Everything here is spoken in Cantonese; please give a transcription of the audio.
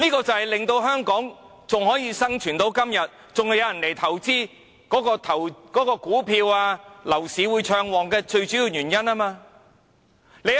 這便是香港能生存至今，還有人會來投資，股票和樓市仍會暢旺的最主要原因。